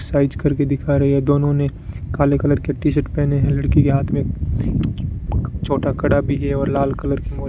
size करके दिखा रहे हैं दोनों ने काले कलर के टी शर्ट पहने हैं लड़की के हाथ में छोटा कड़ा भी है और लाल कलर की --